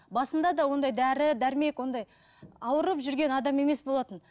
басында да ондай дәрі дәрмек ондай ауырып жүрген адам емес болатын